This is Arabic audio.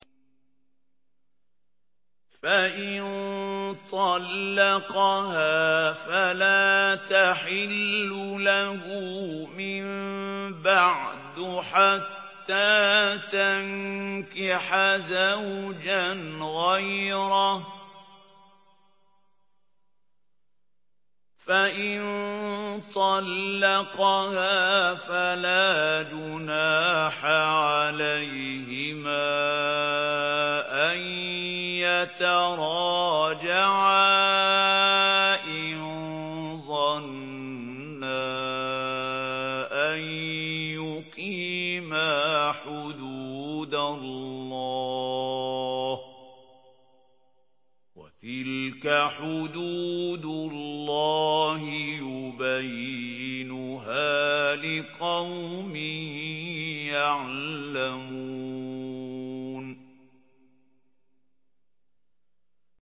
فَإِن طَلَّقَهَا فَلَا تَحِلُّ لَهُ مِن بَعْدُ حَتَّىٰ تَنكِحَ زَوْجًا غَيْرَهُ ۗ فَإِن طَلَّقَهَا فَلَا جُنَاحَ عَلَيْهِمَا أَن يَتَرَاجَعَا إِن ظَنَّا أَن يُقِيمَا حُدُودَ اللَّهِ ۗ وَتِلْكَ حُدُودُ اللَّهِ يُبَيِّنُهَا لِقَوْمٍ يَعْلَمُونَ